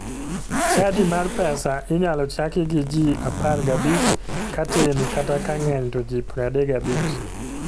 Chadi mar pesa inyalo chako gi ji 15 katin kata kang'eny to ji 35.